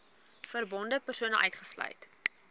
verbonde persone uitgesluit